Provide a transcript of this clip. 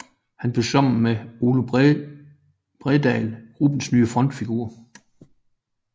Han blev sammen med Ole Bredahl gruppens nye frontfigurer